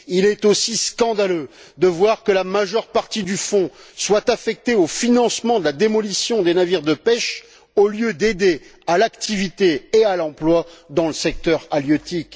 Il est aussi scandaleux de voir que la majeure partie du fonds est affectée au financement de la démolition des navires de pêche au lieu d'aider à l'activité et à l'emploi dans le secteur halieutique.